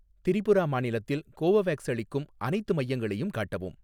திரிபுரா மாநிலத்தில் கோவோவேக்ஸ் அளிக்கும் அனைத்து மையங்களையும் காட்டவும்